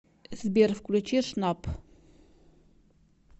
сбер включи шнап